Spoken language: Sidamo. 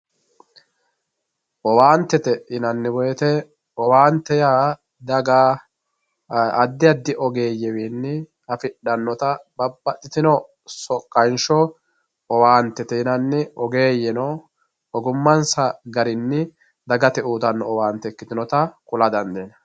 owaantete yinanni woyiite owaante yaa daga addi addi ogeeyyewiinnieafidhannota babbaxxitino soqqansho owaantete yinanni oheeyyeno ogimmansa garinni dagate uuytanno owaante ikkitinota kula dandiinanni.